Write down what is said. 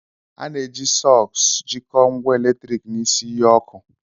A na-eji sọks jikọọ ngwa eletrik na isi iyi ọkụ.